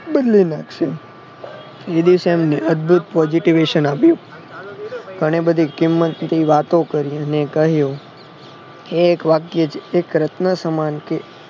બદલી નાખશે એ દિવસે આમ positiveation આવ્યું અને બધી કીમત ની વાતો કરી અને કહ્યું એક વાક્ય એક રચના સમાન છે સમાન છે